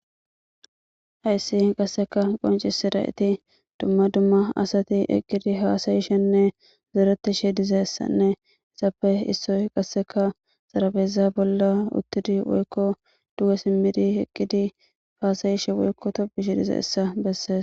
hayssi qasseka qonci si da7eti dumma dumma asati eqqidi haasayishenne zoretishe dizessanne isappe issoy qasseka xarabeza bolla uttidi woykko duwa simmidi eqqidi faasayishe woykko topishe dize essa bessees.